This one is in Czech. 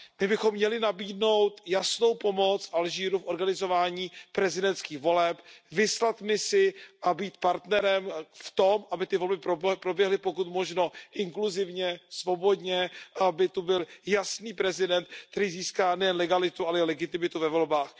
My bychom měli nabídnout jasnou pomoc Alžírsku v organizování prezidentských voleb, vyslat misi a být partnerem v tom, aby ty volby proběhly pokud možno inkluzivně, svobodně a aby to byl jasný prezident, který získá nejen legalitu, ale i legitimitu ve volbách.